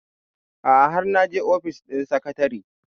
a'a har naje ofis ɗin sekatare